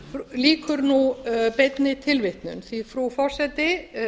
lýkur nú beinni tilvitnun því frú forseti